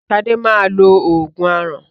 Sadé máa lo oògùn aràn